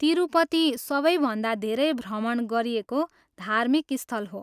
तिरुपति सबै भन्दा धेरै भ्रमण गरिएको धार्मिक स्थल हो।